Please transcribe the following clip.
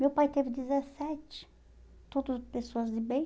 Meu pai teve dezessete, todos pessoas de bem.